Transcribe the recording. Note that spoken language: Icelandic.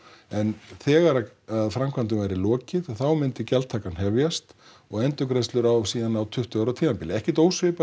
en þegar framkvæmdum yrði lokið þá myndi gjaldtakan hefjast og endurgreiðslur síðan á tuttugu ára tímabili ekkert ósvipað